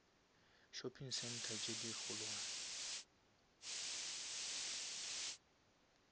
shopping center tše di kgolwane